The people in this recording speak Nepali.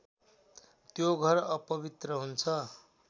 त्यो घर अपवित्र हुन्छ